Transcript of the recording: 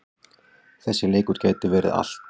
Þessi leikur gæti verið allt.